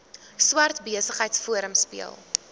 swart besigheidsforum speel